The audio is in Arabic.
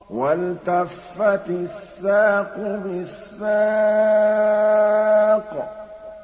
وَالْتَفَّتِ السَّاقُ بِالسَّاقِ